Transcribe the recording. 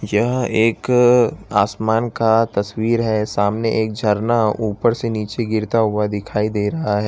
यह एक असमान का तस्वीर है सामने एक झरना ऊपर से नीचे गिरता हुआ दिखाई दे रहा है।